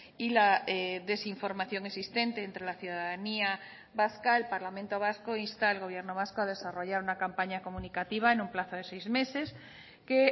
y la desinformación existente entre la ciudadanía vasca el parlamento vasco insta al gobierno vasco a desarrollar una campaña comunicativa en un plazo de seis meses que